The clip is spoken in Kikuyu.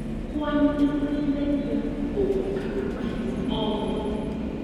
Kwanyu nĩ mũrĩithagia ngũkũ kana mĩhiũ o mothe?